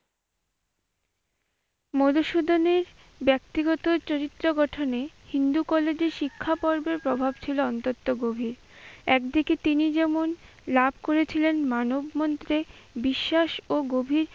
মধুসূদনের ব্যক্তিগত চরিত্র গঠনে হিন্দু কলেজের শিক্ষা পর্বের প্রভাব ছিল অন্তত গভীর, একদিকে তিনি যেমন লাভ করেছিলেন মানব মন্ত্রে বিশ্বাস ও গভীর